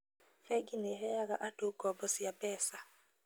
Bengi nĩheaga andũ ngombo cia mbeca